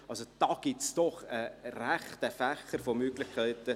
Also: Da gibt es doch einen rechten Fächer von Möglichkeiten.